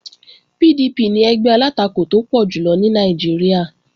PDP ni ẹgbẹ́ alátakò tó pọ̀ jùlọ ní Nàìjíríà